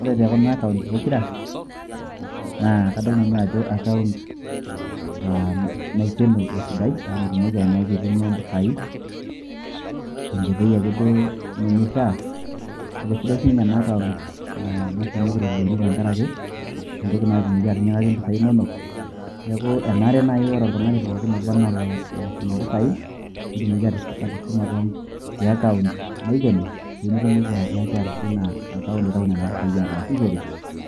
ore tekuna akaunt pokira, naa kadol nanu ajo akaunt naikeno esidai amu mitumoki anyaaki aitumiya impisai ,tenkoitoi ake duo nemeishaa ,kake eisidai sii ninnye ena akaunt nashumieki iropiyiani amu, mitumoki anyaakia atinyikaki impisai inonok, neeku enare naaji ore oltung'ani pookin oba anaa oloshum impisai netumoki atushuma te akaunt naikeno, pee netumoki anyaaki atijing'a account aitau nena pisai ataasishore